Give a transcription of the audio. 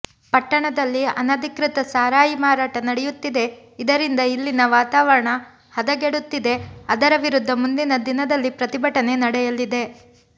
ಪಟ್ಟಣದಲ್ಲಿ ಅನಧಿಕೃತ ಸಾರಾಯಿ ಮಾರಾಟ ನಡೆಯುತ್ತಿದೆ ಇದರಿಂದ ಇಲ್ಲಿನ ವಾತಾವರಣ ಹದಗೆಡುತ್ತಿದೆ ಅದರ ವಿರುದ್ಧ ಮುಂದಿನ ದಿನದಲ್ಲಿ ಪ್ರತಿಭಟನೆ ನಡೆಯಲಿದೆ